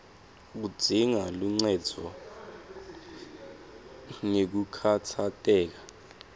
kudzinga luncendvo ngekukhatsateka